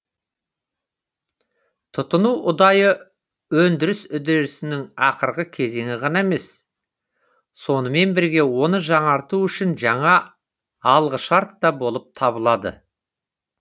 тұтыну ұдайы өндіріс үдерісінің ақырғы кезеңі ғана емес сонымен бірге оны жаңарту үшін жаңа алғышарт та болып табылады